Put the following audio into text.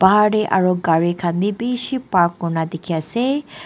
bahar te aro gari khan bi bishi park kuri na dikhi ase.